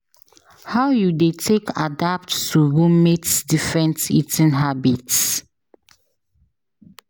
How you dey take adapt to roommate's different eating habits?